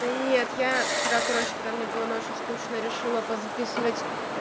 нет я вчера короче когда мне было ночью скучно решила по записывать